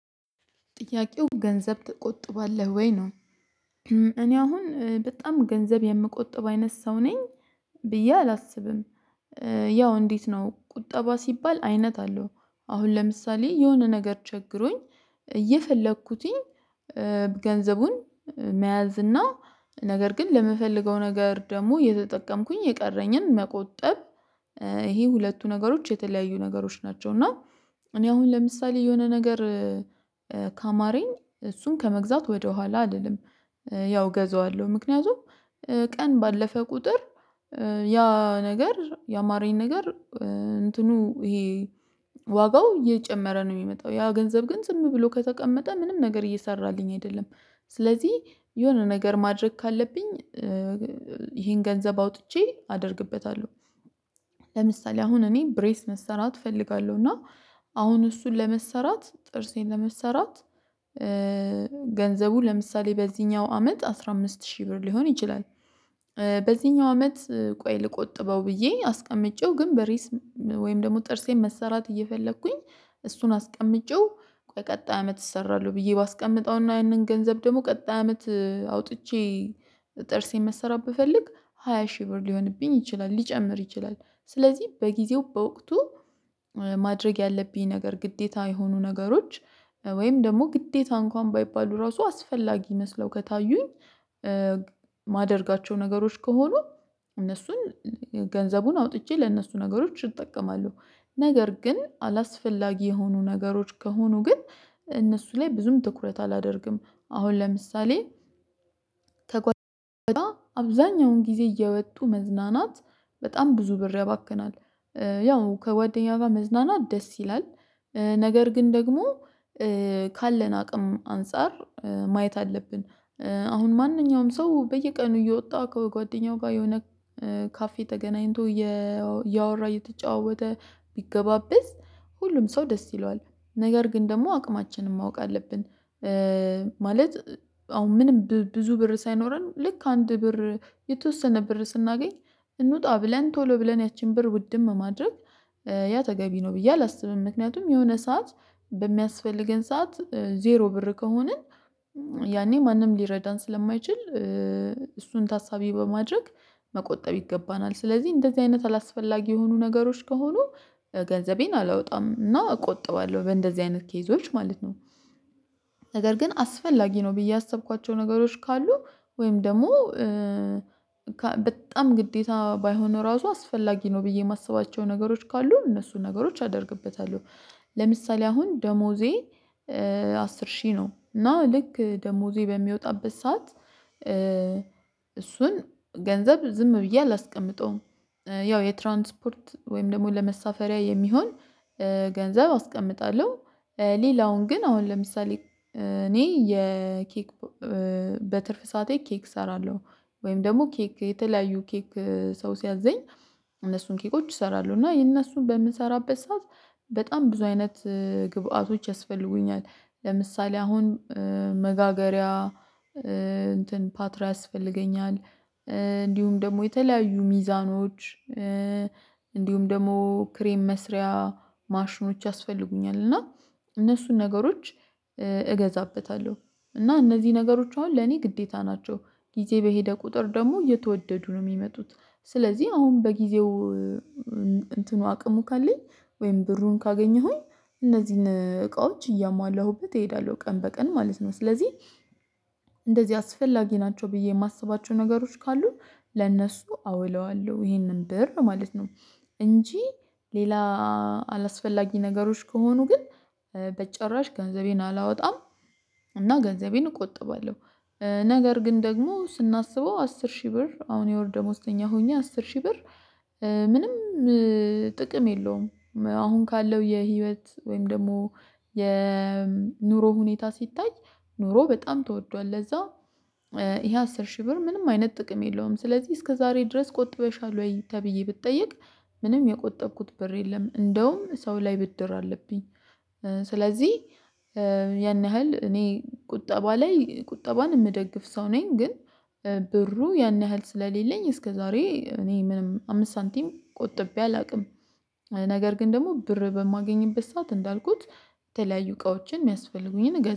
ጥያቄው ገንዘብ ትቆጥባለህ ወይ ነው? እኔ አሁን በጣም ገንዘብ የምቆጥብ አይነት ሰው ነኝ። ብዬ አላስብም። ያው እንዴት ነው ቁጠባ ሲባል አይነት አለው። አሁን ለምሳሌ የሆነ ነገር ቸግሮኝ እየፈለኩትኝ ገንዘቡን መያዝ እና ነገር ግን ለምፈልገው ነገር ደግሞ የተጠቀምኩኝ የቀረኝን መቆጠብ። ይሄ ሁለቱ ነገሮች የተለያዩ ነገሮች ናቸው። እና እኔ አሁን ለምሳሌ የሆነ ነገር ካማረኝ እሱን ከመግዛት ወደኋላ አልልም። ያው እገዛዋለሁ ምክንያቱም ቀን ባለፈ ቁጥር ያ ነገር ያማረኝ ነገር እንትኑ ይሄ ዋጋው እየጨመረ ነው የሚመጣው ያ ገንዘብ ግን ዝም ብሎ ከተቀመጠ ምንም ነገር እየሰራልኝ አይደለም። ስለዚህ የሆነ ነገር ማድረግ ካለብኝ ይሄን ገንዘብ አውጥቼ አደርግበታለሁ። ለምሳሌ አሁን እኔ ብሬስ መሰራት እፈልጋለሁ እና አሁን እሱን ለመሰራት ጥርሴን ለመሰራት ገንዘቡ ለምሳሌ በዚህኛው አመት አስራ አምስት ሺህ ብር ሊሆን ይችላል። በዚህኛው አመት ቆይ ልቆጥበው ብዬ አስቀምጬው ግን ብሬስ ወይም ደግሞ ጥርሴን መሰራት እየፈለኩኝ እሱን አስቀምጬው ቀጣይ አመት እሰራለሁ ብዬ ባስቀምጠውና ይህንን ገንዘብ ደግሞ ቀጣይ አመት አውጥቼ ጥርሴን መሰራት ብፈልግ ሆያ ሺህ ብር ሊሆንብኝ ይችላል ሊጨምር ይችላል። ስለዚህ በጊዜው በወቅቱ ማድረግ ያለብኝ ነገር ግዴታ የሆኑ ነገሮች ወይም ደግሞ ግዴታ እንኳን ባይባሉ ራሱ አስፈላጊ መስለው ከታዩኝ ማደርጋቸው ነገሮች ከሆኑ እነሱን ገንዘቡን አውጥቼ ለእነሱ ነገሮች እጠቀማለሁ። ነገር ግን አላስፈላጊ የሆኑ ነገሮች ከሆኑ ግን እነሱ ላይ ብዙም ትኩረት አላደርግም። አሁን ለምሳሌ ከጓደኛ አብዛኛውን ጊዜ እየወጡ መዝናናት በጣም ብዙ ብር ያባክናል። ያው ከጓደኛዋ መዝናናት ደስ ይላል። ነገር ግን ደግሞ ካለን አቅም አንፃር ማየት አለብን። አሁን ማንኛውም ሰው በየቀኑ እየወጣ ከጓደኛው ጋር የሆነ ካፌ ተገናኝቶ እያወራ እየተጫወተ ቢገባበዝ ሁሉም ሰው ደስ ይለዋል ነገር ግን ደግሞ አቅማችንን ማወቅ አለብን። ማለት አሁን ምንም ብዙ ብር ሳይኖረን ልክ አንድ ብር የተወሰነ ብር ስናገኝ እንውጣ ብለን ቶሎ ብለን ያቺን ብር ውድም ማድረግ ያ ተገቢ ነው ብዬ አላስብም። ምክንያቱም የሆነ ሰዓት በሚያስፈልገን ሰዓት ዜሮ ብር ከሆንን ያኔ ማንም ሊረዳን ስለማይችል እሱን ታሳቢ በማድረግ መቆጠብ ይገባናል። ስለዚህ እንደዚህ አይነት አላስፈላጊ የሆኑ ነገሮች ከሆኑ ገንዘቤን አላወጣም እና እቆጥባለሁ በእንደዚህ አይነት ኬዞች ማለት ነው። ነገር ግን አስፈላጊ ነው ብዬ ያሰብኳቸው ነገሮች ካሉ ወይም ደግሞ በጣም ግዴታ ባይሆን ራሱ አስፈላጊ ነው ብዬ የማስባቸው ነገሮች ካሉ እነሱ ነገሮች አደርግበታለሁ። ለምሳሌ አሁን ደሞዜ አስር ሺህ ነው እና ልክ ደሞዜ በሚወጣበት ሰዓት እሱን ገንዘብ ዝም ብዬ አላስቀምጠውም። ያው የትራንስፖርት ወይም ደግሞ ለመሳፈሪያ የሚሆን ገንዘብ አስቀምጣለሁ። ሌላውን ግን አሁን ለምሳሌ እኔ የኬክ በትርፍ ሰዓቴ ኬክ እሰራለሁ። ወይም ደግሞ ኬክ የተለያዩ ኬክ ሰው ሲያዘኝ እነሱን ኬኮች እሰራለሁ እና የእነሱን በምሰራበት ሰዓት በጣም ብዙ አይነት ግብአቶች ያስፈልጉኛል ለምሳሌ አሁን መጋገሪያ እንትን ፓትርያስ ያስፈልገኛል። እንዲሁም ደግሞ የተለያዩ ሚዛኖች እንዲሁም ደግሞ ክሬም መስሪያ ማሽኖች ያስፈልጉኛል። እና እነሱን ነገሮች እገዛበታለሁ እና እነዚህ ነገሮች አሁን ለኔ ግዴታ ናቸው ጊዜ በሄደ ቁጥር ደግሞ እየተወደዱ ነው የሚመጡት። ስለዚህ አሁን በጊዜው እንትኑ አቅሙ ካለኝ ወይም ብሩን ካገኘሁኝ እነዚህን እቃዎች እያሟላሁበት እሄዳለሁ ቀን በቀን ማለት ነው። ስለዚህ እንደዚህ አስፈላጊ ናቸው ብዬ የማስባቸው ነገሮች ካሉ ለእነሱ አውለዋለሁ ይሄንን ብር ማለት ነው። እንጂ ሌላ አላስፈላጊ ነገሮች ከሆኑ ግን በጭራሽ ገንዘቤን አላወጣም። እና ገንዘቤን እቆጥባለሁ። ነገር ግን ደግሞ ስናስበው አስር ሺህ ብር አሁን የወር ደሞዝተኛ ሆኜ አስር ሺህ ብር ምንም ጥቅም የለውም። አሁን ካለው የህይወት ወይም ደግሞ የኑሮ ሁኔታ ሲታይ ኑሮ በጣም ተወዷል ለዛ ይሄ አስር ሺህ ብር ምንም አይነት ጥቅም የለውም። ስለዚህ እስከዛሬ ድረስ ቆጥበሻል ወይ? ተብዬ ብትጠየቅ ምንም የቆጠብኩት በር የለም እንደውም ሰው ላይ ብድር አለብኝ። ስለዚህ ያን ያህል እኔ ቁጠባ ላይ ቁጠባን የምደግፍ ሰው ነኝ። ግን ብሩ ያን ያህል ስለሌለኝ እስከዛሬ እኔ ምንም አምስት ሳንቲም ቆጥቤ አላውቅም። ነገር ግን ደግሞ ብር በማገኝበት ሰዓት እንዳልኩት የተለያዩ እቃዎችን የሚያስፈልጉኝን